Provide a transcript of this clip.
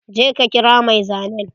Je ka kira mai zanen!